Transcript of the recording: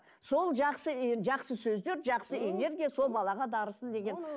сол жақсы ы жақсы сөздер жақсы энергия сол балаға дарысын деген